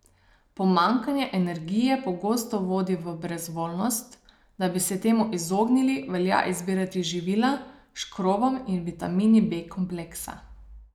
Pomanjkanje energije pogosto vodi v brezvoljnost, da bi se temu izognili, velja izbirati živila s škrobom in vitamini B kompleksa.